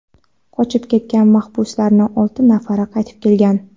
qochib ketgan mahbuslardan olti nafari qaytib kelgan.